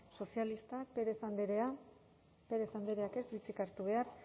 sozialistak pérez andrea pérez andreak ez du hitzik hartu behar